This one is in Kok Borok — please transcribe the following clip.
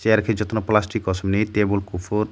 ero ke jottono plastic kosom ni tabul kufur.